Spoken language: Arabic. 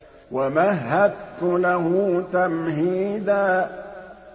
وَمَهَّدتُّ لَهُ تَمْهِيدًا